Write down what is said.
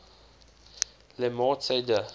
le morte d